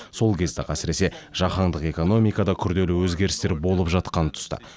сол кезде ақ әсіресе жаһандық экономикада күрделі өзгерістер болып жатқан тұста